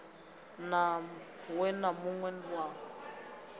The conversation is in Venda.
we na mun we wa